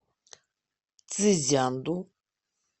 цзянду